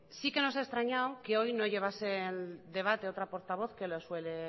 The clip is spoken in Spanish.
sí que no ha extrañado que hoy no llevase el debate otra portavoz que lo suele